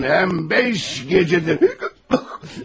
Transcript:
Həm, həm beş gecədir.